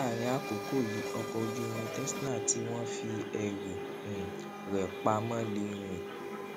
láàárín àkókò yìí ọkọ ojú irin tesla tí wón fi ẹrù um rè pa mó lè rìn